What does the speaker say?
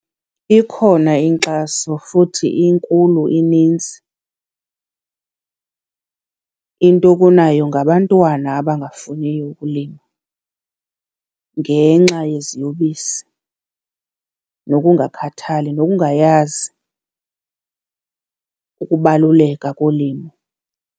Ikhona inkxaso futhi inkulu inintsi intokunayo ngabantwana abangafuniyo ukulima ngenxa yeziyobisi nokungakhathali nokungayazi ukubaluleka kolimo.